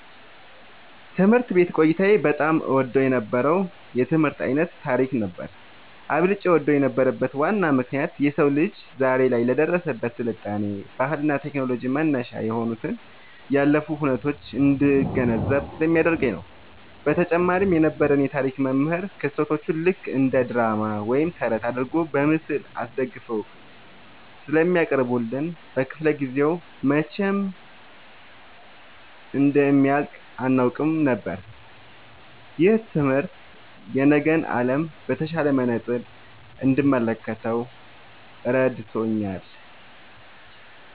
ትምህርት ቤት ቆይታዬ በጣም እወደው የነበረው የትምህርት ዓይነት ታሪክ ነበር። አብልጬ እወደው የነበረበት ዋናው ምክንያት የሰው ልጅ ዛሬ ላይ ለደረሰበት ስልጣኔ፣ ባህልና ቴክኖሎጂ መነሻ የሆኑትን ያለፉ ሁነቶች እንድገነዘብ ስለሚያደርገኝ ነው። በተጨማሪም የነበረን የታሪክ መምህር ክስተቶቹን ልክ እንደ ድራማ ወይም ተረት አድርገው በምስል አስደግፈው ስለሚያቀርቡልን፣ ክፍለ-ጊዜው መቼ እንደሚያልቅ አናውቅም ነበር። ይህ ትምህርት የነገን ዓለም በተሻለ መነጽር እንድመለከት ረድቶኛል።"